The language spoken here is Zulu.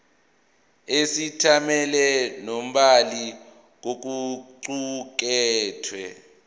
isethameli nombhali kokuqukethwe